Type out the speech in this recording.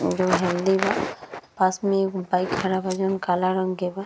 अउरो हेअल्थी बा। पास में एगो बाइक खड़ा बा जौन काला रंग के बा।